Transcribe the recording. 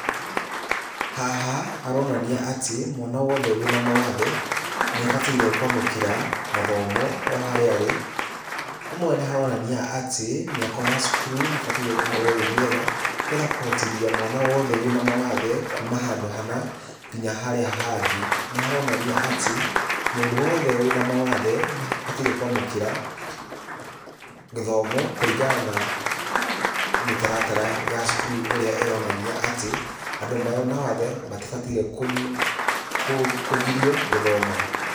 Haha haroranania atĩ mwana wothe wĩna mawathe nĩ abataire kwamũkĩra mathomo o harĩa arĩ. Hamwe nĩ haronania atĩ mĩako ya cukuru nĩ ĩbataire gũkorwo ĩ mĩega nĩ getha kũhotithia mwana wothe wĩna mawathe kuma handũ hana nginya harĩa hangĩ. Nĩ haronania atĩ mũndũ wothe wĩna mawathe nĩ abataire kwamũkĩra gĩthomo kũringana na mĩtaratara ya cukuru ũrĩa ĩronania atĩ, andũ mena wathe matibataire kũgirio gũthoma.